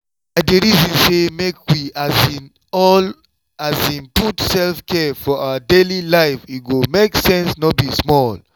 i dey reason say make um we all um put self-care for our daily life e go make sense no be small